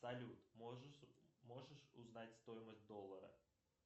салют можешь узнать стоимость доллара